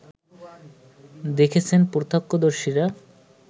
দেখেছেন প্রত্যক্ষদর্শীরা